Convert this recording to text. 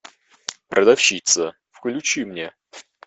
продавщица включи мне